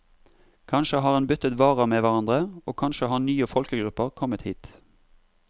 Kanskje har en byttet varer med hverandre og kanskje har nye folkegrupper kommet hit.